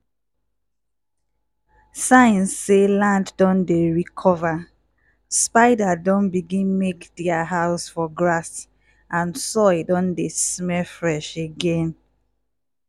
signs say land don dey recover: spider don begin make dia house for grass and soil don dey smell fresh again.